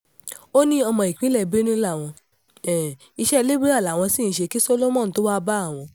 ó ní ọmọ ìpínlẹ̀ benue láwọn iṣẹ́ lébírà làwọn sì ń ṣe kí solomon tóo wáá bá àwọn